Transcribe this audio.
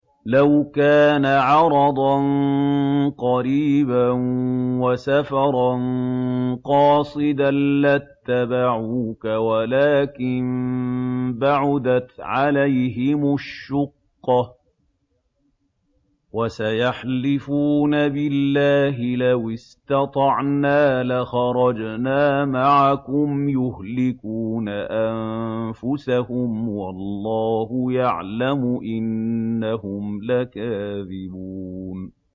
لَوْ كَانَ عَرَضًا قَرِيبًا وَسَفَرًا قَاصِدًا لَّاتَّبَعُوكَ وَلَٰكِن بَعُدَتْ عَلَيْهِمُ الشُّقَّةُ ۚ وَسَيَحْلِفُونَ بِاللَّهِ لَوِ اسْتَطَعْنَا لَخَرَجْنَا مَعَكُمْ يُهْلِكُونَ أَنفُسَهُمْ وَاللَّهُ يَعْلَمُ إِنَّهُمْ لَكَاذِبُونَ